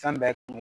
Fɛn bɛɛ kun